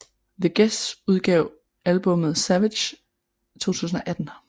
The Gäs udgav albummet Savage 2018